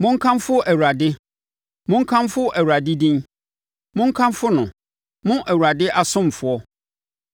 Monkamfo Awurade. Monkamfo Awurade din; monkamfo no, mo Awurade asomfoɔ,